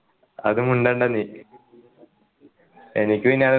അത് മുണ്ടണ്ട നീ എനിക്ക് പിന്നെ